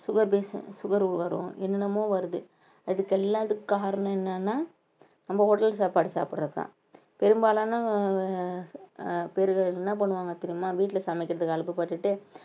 sugar patien~ sugar வரும் என்னென்னமோ வருது அதுக்கெல்லாம் அதுக்கு காரணம் என்னன்னா நம்ம hotel சாப்பாடு சாப்பிடுறதுதான் பெரும்பாலான அஹ் பேருங்க என்ன பண்ணுவாங்க தெரியுமா வீட்டுல சமைக்கிறதுக்கு அலுப்பப்பட்டுட்டு